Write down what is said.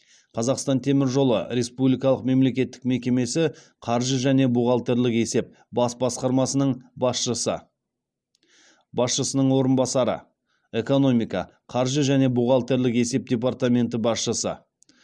қазақстан темір жолы республикалық мемлекеттік мекемесі қаржы және бухгалтерлік есеп бас басқармасының басшысы басшысының орынбасары экономика қаржы және бухгалтерлік есеп департаменті басшысы